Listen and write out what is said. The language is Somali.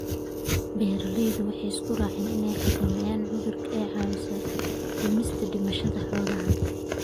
Beeralaydu waxay isku raaceen in xakamaynta cudurku ay caawiso dhimista dhimashada xoolaha.